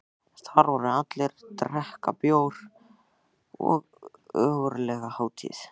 Þar voru allir að drekka bjór og ógurleg hátíð.